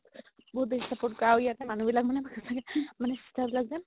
বহুত বেচি support কৰে আৰু ইয়াত যে মানুহ বিলাক মানে সচাকে sister বিলাক যে